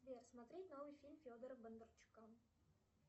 сбер смотреть новый фильм федора бондарчука